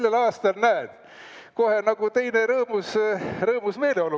Sellel aastal, näed, kohe nagu teine, rõõmus meeleolu.